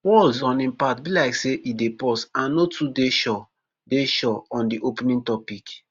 walz on im part be like say e dey pause and no too dey sure dey sure on di opening topic.